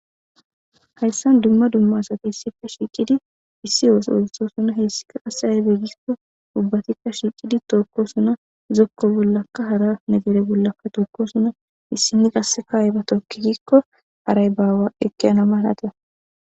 Hayssan dumma dumma satissife shiiqidi issi yooso ooliso suna heessika asa aybegikko ubbatikka shiiqidi tookko suna zokko bollaka hara negere bollakka tokko suna issini qasse kaayiba tokkigikko haray baawa ekeana maalata.